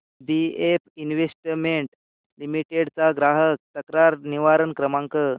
BF investment limited चा ग्राहक तक्रार निवारण क्रमांक